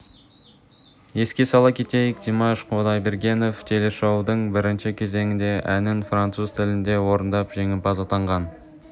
еске сала кетейік димаш құдайбергенов телешоудың бірінші кезеңінде әнін француз тілінде орындап жеңімпаз атанған